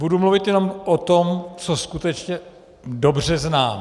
Budu mluvit jenom o tom, co skutečně dobře znám.